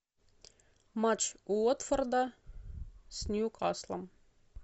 матч уотфорда с ньюкаслом